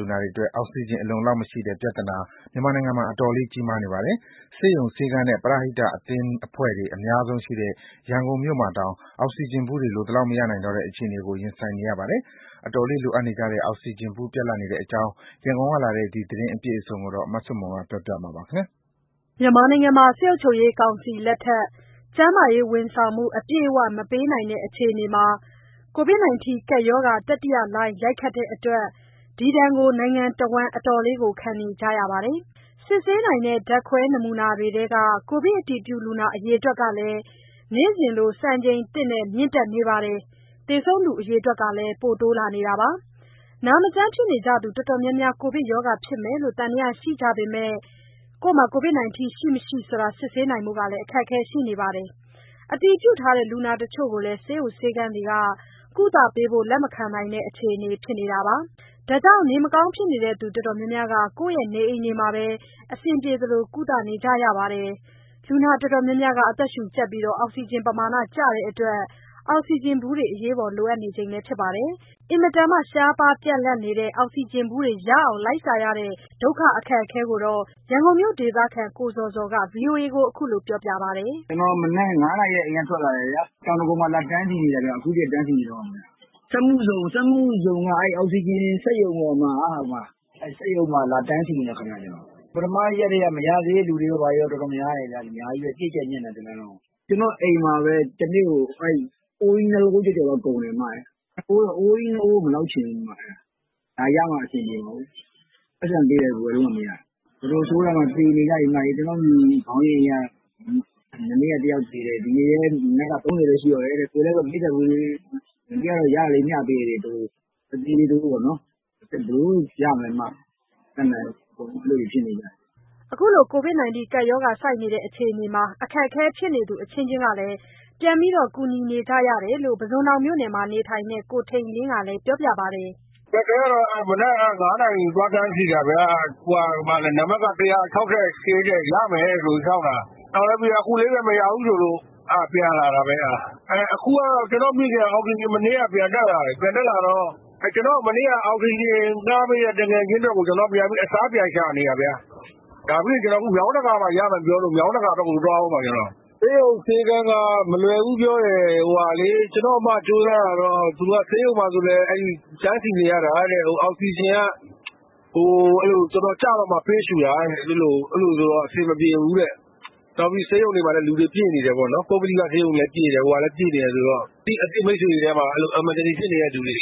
လူနာတွေအတွက် အောက်စီဂျင်အလုံအလောက်မရှိတဲ့ ပြဿနာမြန်မာနိုင်ငံမှာ တော်တော်လေး ကြီးမားနေပါတယ်။ ဆေးရုံ၊ ဆေးခန်းနဲ့ ပရဟိတ အသင်းအဖွဲ့တွေ အများဆုံးရှိတဲ့ ရန်ကုန်မြို့မှာတောင် အောက်ဆီဂျင်ဗူးတွေ လိုသလောက်မရနိုင်တော့တဲ့ အခြေအနေကို ရင်ဆိုင်နေရပါတယ်။ အတော်လေးလိုအပ်နေကြတဲ့ အောက်စီဂျင်ဗူးပြတ်လပ်နေတဲ့အကြောင်း ရန်ကုန်ကလာတဲ့ ဒီသတင်းအပြည့်အစုံကို မဆုမွန်ပြောပါလိမ့်မယ်။ စစ်ကောင်စီလက်ထက် ကျန်းမာရေးဝန်ဆောင်မှု အပြည့်အဝ မပေးနိုင်တဲ့ အခြေအနေမှာ ကိုဗစ်တတိယလှိုင်းရိုက်ခတ်တဲ့အတွက် ဒီဒဏ်ကို နိုင်ငံတဝန်း အတော်လေးခံနေကြရပါတယ်။ စစ်ဆေးနိုင်တဲ့ ဓါတ်ခွဲနမူနာတွေထဲက ကိုဗစ်အတည်ပြုလူနာ အရေအတွက်ကလည်း နေ့စဉ်လို စံချိန်သစ်နဲ့ မြင့်တက်နေပါတယ်။ သေဆုံးသူအရေအတွက်လည်း ပိုတိုးလာနေပါတယ်။ နာမကျန်းဖြစ်နေကြသူ တော်တော်များများ ကိုဗစ်ကပ်ရောဂါဖြစ်မယ်လို့ သံသယရှိနေကြပေမဲ့ ကိုဗစ် ရှိ၊ မရှိ စစ်ဆေးနိုင်ဖို့ အခက်အခဲရှိနေသလို၊ အတည်ပြုလူနာတချို့ကိုလည်း ဆေးရုံ ဆေးခန်းတွေက ကုသပေးဖို့ လက်မခံနိုင်တဲ့ အခြေအနေဖြစ်နေပါတယ်။ ဒါကြောင့် နေမကောင်းဖြစ်နေသူတော်တော်များများ ကိုယ့်နေအိမ်တွေမှာပဲ အဆင်ပြေသလို ကုသနေကြရပါတယ်။ လူနာတော်တော်များများ အသက်ရှုကြပ်ပြီး အောက်စီဂျင်ပမာဏကျတဲ့အတွက် အောက်စီဂျင်ဗူးတွေ အရေးပေါ်လိုအပ်နေကြပါတယ်။ အင်မတန် ရှားပါးပြတ်လပ်နေတဲ့ အောက်စီဂျင်ဗူးတွေ လိုက်ရှာရတဲ့ ဒုက္ခကို ရန်ကုန်မြို့ဒေသခံ ကိုဇော်ဇော်က ဗွီအိုအေကိုပြောပြပါတယ်။ "ကျနော် မနက် ၅နာရီကတည်းက အိမ်ကထွက်လာတယ်ဗျာ။ တောင်ဒဂုံမှာ လာတန်းစီနေတာ အခုထိ တန်းစီနေတုန်းပဲ။ စက်မှုဇုံက အောက်ဆီဂျင်စက်ရုံမှာ လာတန်းစီနေတာ။ ပထမရက်ထဲက မရသေးတဲ့သူတွေရော ဘာရော အများကြီးပဲဗျ ပြည့်ကြပ်ညပ်နေတာပဲ တလမ်းလုံးကို။ ကျနော့အိမ်မှာပဲ တနေ့ကို အိုးကြီး ၂ အိုး ကုန်တယ်။ အိုးကြီး ၂ အိုးကို မလောက်ချင်ဘူး။ အဲတော့ ဒါရမှ အဆင်ပြေမှာကို။ ပိုက်ဆံပေးလည်း ဝယ်လို့မှမရတာ။ တော်တော်ဆိုးတာမှ သေနေကြပြီ။ ကျနော့အိမ်ခေါင်းရင်းက မနေ့က တယောက်သေတယ်။ ဒီနေ့လည်း မနက်က ၃၀ ပဲရှိတော့တယ်တဲ့။ ကိုယ်လည်း ၄၀ အိုးလေး မနေ့ကရတာ မျှပေးလိုက်တယ်။ အသေးလေး တအိုးပေါ့နော်။ ဘယ်လိုလုပ်ရမလဲ မတတ်နိုင်ဘူး။ အကုန်လုံး အဲလိုဖြစ်နေကြပြီ။" ခုလိုအခြေအနေမှာ အခက်အခဲဖြစ်သူအချင်းချင်း ပြန်ပြီး ကူညီနေကြရတာကိုလည်း ပုဇွန်တောင်မှာနေထိုင်တဲ့ ကိုထိန်လင်းကလည်း ပြောပြပါတယ်။ "အခက်အခဲကတော့ မနက် ၅နာရီ သွားတန်းစီတာဗျာ နံပါတ်က ၁၆၈ တဲ့။ ရမယ်ဆိုပြီး စောင့်တာ အခုလေးပဲ မရဘူးဆိုလို့ ပြန်လာတာ။ အခုကတော့ ကျနော့မိခင်က မနေ့ကပဲ အောက်ဆီဂျင်ပြန်တက်လာတော့ ကျနော့်ကို မနေ့က အောက်ဆီဂျင်ငှားပေးတဲ့ သူငယ်ချင်းအတွက်ကို အစားပြန်ရှာနေတာဗျ။ ဒါပြီးရင် မြောင်းတကာဘက်မှာ ရတယ်ပြောလို့ မြောင်းတကာဘက်ကို သွားဦးမှာ။ ဆေးရုံ၊ ဆေးခန်းက မလွယ်ဘူးပြောတယ်။ ကျနော့အစ်မ ကြိုးစားတာတော့ ဆေးရုံမှာဆိုလည်း တန်းစီနေရတာတဲ့။ အောက်ဆီဂျင်က တော်တော်ကျမှ ပေးရှူတာတဲ့။ အဲလိုဆိုတော့ အဆင်မပြေဘူး။ နောက်ပြီး ပုဂ္ဂလိကဆေးရုံရော၊ အစိုးရဆေးရုံမှာရော လူတွေပြည့်နေတယ်ဆိုတော့ အသိမိတ်ဆွေတွေထဲမှာ အရေးပေါ် ဖြစ်နေတဲ့ သူတွေ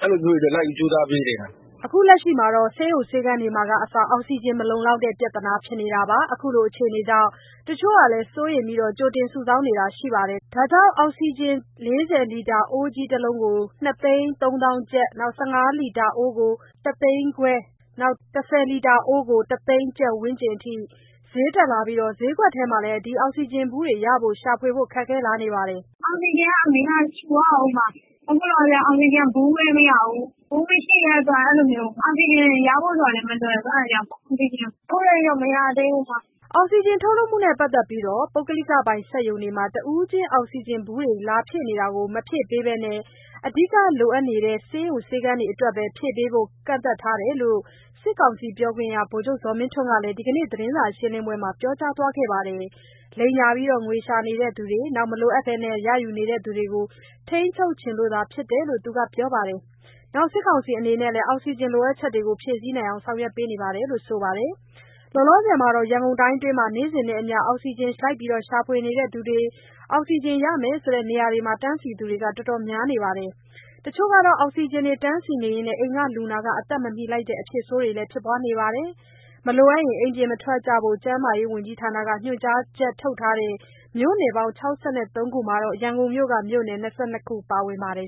အတွက် လိုက်ပြီးကြိုးစားပေးနေတာ။" ဆေးရုံ၊ ဆေးခန်းတွေမှာကအစ အောက်စီဂျင် မလုံလောက်တဲ့ ပြဿနာဖြစ်နေတာပါ။ ခုလိုအခြေအနေကြောင့် တချို့ကလည်း စိုးရိမ်ပြီး ကြိုတင်စုဆောင်းတာမျိုးတွေ ရှိနေပါတယ်။ ဒါကြောင့် အောက်ဆီဂျင် ၄၀ လီတာ အိုးကြီးတလုံးကို ၂၃၀,၀၀၀ ကျပ်၊ ၁၅ လီတာ အိုးကို ၁၅၀,၀၀၀ ကျပ်နဲ့ ၁၀ လီတာ အိုးကတော့ ၁၀၀,၀၀၀ ကျပ် ဝန်းကျင်အထိ ဈေးတက်လာပြီး ဈေးကွက်ထဲမှာ ရှာဝယ်ဖို့ခက်ခဲလာပါတယ်။ "အောက်ဆီဂျင်က အမေက ရှူရဦးမှာ။ အခုလောလောဆယ် အောက်ဆီဂျင်က ဗူးလည်းမရဘူး။ ဗူးမရှိတဲ့အတွက် အောက်ဆီဂျင်ရဖို့ကလည်း မလွယ်ဘူး။ ရှာနေတာ အခုထက်ထိတော့ မရသေးဘူး။" အောက်စီဂျင်ထုတ်လုပ်မှုနဲ့ပါတ်သက်လို့ ပုဂ္ဂလိကပိုင်စက်ရုံတွေမှာ တဦးချင်းအောက်စီဂျင်ဗူးတွေ လာဖြည့်နေတာ မဖြည့်ပေးဘဲ အဓိကလိုအပ်နေတဲ့ ဆေးရုံ ဆေးခန်းတွေအတွက်သာ ဖြည့်ပေးဖို့ ကန့်သတ်ထားတယ်လို့ စစ်ကောင်စီပြောခွင့်ရ ဗိုလ်ချုပ်ဇော်မင်းထွန်းက ဒီနေ့သတင်းစာရှင်းပွဲမှာ ပြောကြားသွားပါတယ်။ လိမ်ညာငွေရှာနေသူတွေ၊ မလိုအပ်ဘဲ ရယူနေသူတွေကို ထိန်းချုပ်ချင်လို့ဖြစ်တယ်လို့ သူကပြောပါတယ်။ စစ်ကောင်စီအနေနဲ့လည်း အောက်စီဂျင်လိုအပ်ချက်တွေကို ဖြည့်ဆည်းနိုင်အောင် ဆောင်ရွက်နေပါတယ်လို့ ပြောပါတယ်။ လောလောဆယ်မှာတော့ ရန်ကုန်တိုင်းမှာတော့ နေ့စဉ်နဲ့အမျှ အောက်ဆီဂျင်ရှာဖွေသူတွေ၊ အောက်စီဂျင်ရမယ်ဆိုတဲ့ နေရာတွေမှာ တန်းစီသူတွေ တော်တော်များနေပါတယ်။ တချို့တွေ အောက်ဆီဂျင်တန်းစီရင်း အိမ်က လူနာအသက်မမီလိုက်တဲ့ အဖြစ်ဆိုးတွေလည်းရှိပါတယ်။ မလိုအပ်ရင် အိမ်ပြင်မထွက်ဘို့ ကျန်းမာရေးဝန်ကြီးဌာနက ညွှန်ကြားချက်ထုတ်ထားတဲ့ မြို့နယ်ပေါင်း ၆၃ ခုမှာ ရန်ကုန်မြို့က မြို့နယ် ၂၂ ခုပါဝင်ပါတယ်